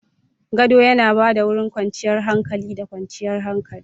Gado yana ba da wurin kwanciyar hankali da kwanciyar hankali.